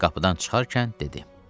Qapıdan çıxarkən dedi.